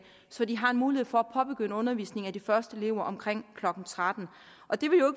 så de har en mulighed for at påbegynde undervisningen af de første elever omkring klokken trettende det vil jo